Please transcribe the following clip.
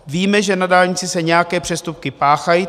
Víme, že na dálnici se nějaké přestupky páchají.